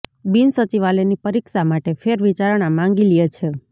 બિનસચિવાલયની પરીક્ષા માટે ફેર વિચારણા માંગી લ્યે છે